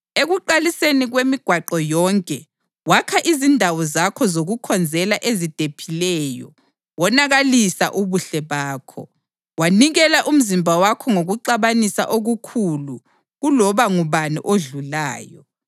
Ekuqaliseni kwemigwaqo yonke wakha izindawo zakho zokukhonzela ezidephileyo wonakalisa ubuhle bakho, wanikela umzimba wakho ngokuxabanisa okukhulu kuloba ngubani odlulayo.